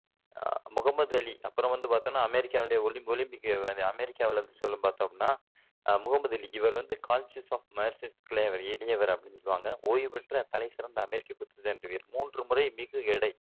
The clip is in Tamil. அஹ் முகம்மது அலி அப்பறம் வந்து பாத்தோம்னா அமெரிக்காவினுடைய ஒல் ஒலிம்பிக் அமெரிக்காவுல சொல்லும் பாத்தோம்னா அஹ் முகம்மது அலி இவரு வந்து காஸ்சியுஸ் மர்செல்லஸ் கிளே இளையவர் அப்படின்னு சொல்லுவாங்க ஓய்வுபெற்ற தலைசிறந்த அமெரிக்க குத்துச்சண்டை வீரர் மூன்று முறை மிகுஎடை